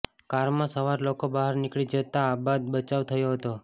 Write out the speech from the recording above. કારમાં સવાર લોકો બહાર નીકળી જતાઆબાદ બચાવ થયો હતો